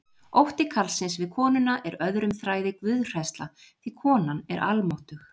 Ótti karlsins við konuna er öðrum þræði guðhræðsla því konan er almáttug.